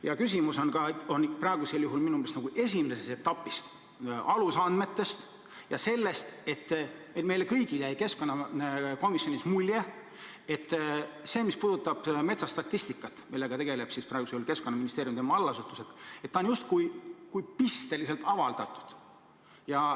Ja küsimus on praegusel juhul minu meelest esimeses etapis – alusandmetes ja selles, et meile kõigile jäi keskkonnakomisjonis mulje, et see, mis puudutab metsastatistikat, millega tegelevad praegusel juhul Keskkonnaministeerium ja tema allasutused, on justkui pisteliselt avaldatud.